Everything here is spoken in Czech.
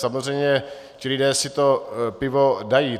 Samozřejmě ti lidé si to pivo dají.